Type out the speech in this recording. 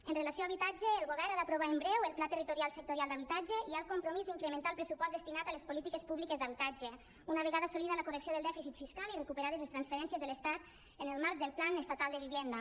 amb relació a habitatge el govern ha d’aprovar en breu el pla territorial sectorial d’habitatge i hi ha el compromís d’incrementar el pressupost destinat a les polítiques públiques d’habitatge una vegada assolida la correcció del dèficit fiscal i recuperades les transferències de l’estat en el marc del plan estatal de vivienda